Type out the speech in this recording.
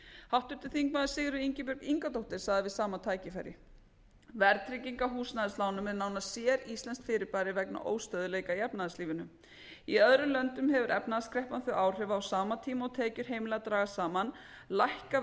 háttvirtur þingmaður sigríður ingibjörg ingadóttir sagði við sama tækifæri verðtrygging á húsnæðislánum er nánast séríslenskt fyrirbæri vegna óstöðugleika í efnahagslífinu í öðrum löndum hefur efnahagskreppan þau áhrif að á sama tíma og tekjur heimilanna dragast saman lækka